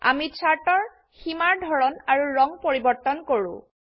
আমি চাৰ্ট এৰ সীমাৰ ধৰন আৰু ৰং পৰিবৰ্তন কৰো